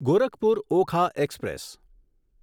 Gorakhpur Okha express